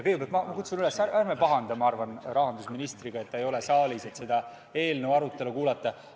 Kõigepealt kutsun ma üles mitte pahandama rahandusministriga, et teda ei ole siin saalis selle eelnõu arutelu kuulamas.